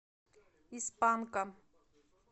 из панка